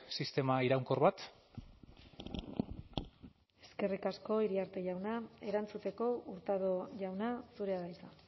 sistema iraunkor bat eskerrik asko iriarte jauna erantzuteko hurtado jauna zurea da hitza